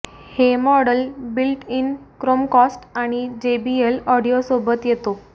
हे model built in Chromecast आणि JBL audio सोबत येतो